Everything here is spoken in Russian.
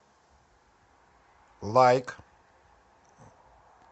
лайк